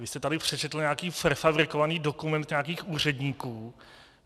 Vy jste tady přečetl nějaký prefabrikovaný dokument nějakých úředníků.